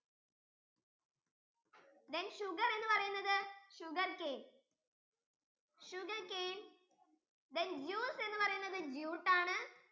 then sugar എന്ന് പറയുന്നത് sugarcane sugarcanethen juice എന്ന് പറയുന്നത് jute ആണ്